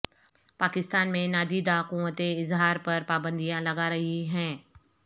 پاکستان میں نادیدہ قوتیں اظہار پر پابندیاں لگا رہی ہیں